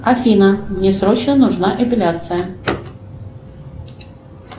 афина мне срочно нужна эпиляция